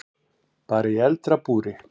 Bara í eldra búri.